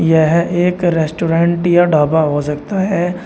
यह एक रेस्टोरेंट या ढाबा हो सकता है।